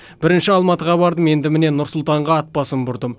бірінші алматыға бардым енді міне нұр сұлтанға ат басын бұрдым